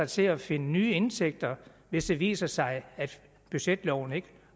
til at finde nye indtægter hvis det viser sig at budgetloven ikke